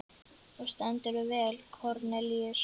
Þú stendur þig vel, Kornelíus!